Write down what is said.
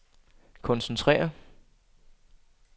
koncentrere